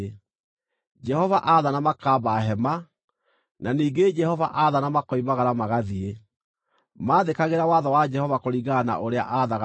Jehova aathana makaamba hema, na ningĩ Jehova aathana makoimagara magathiĩ. Maathĩkagĩra watho wa Jehova kũringana na ũrĩa aathaga Musa.